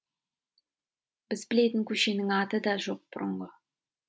біз білетін көшенің аты да жоқ бұрынғы